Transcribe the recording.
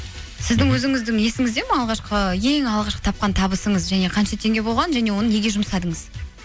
сіздің өзіңіздің есіңізде ме алғашқы ең алғашқы тапқан табысыңыз және қанша теңге болған және оны неге жұмсадыңыз